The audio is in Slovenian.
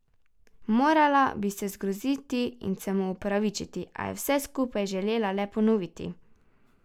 Morala bi se zgroziti in se mu opravičiti, a je vse skupaj želela le ponoviti.